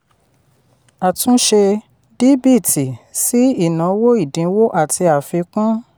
àtúnṣe: díbìtì sí ìnáwó ìdínwó àti àfikún.